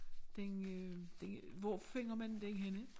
Den øh den hvor finder man den henne